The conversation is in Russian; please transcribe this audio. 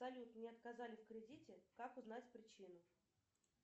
салют мне отказали в кредите как узнать причину